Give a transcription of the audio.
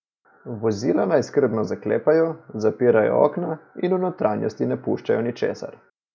Vozila naj skrbno zaklepajo, zapirajo okna in v notranjosti ne puščajo ničesar.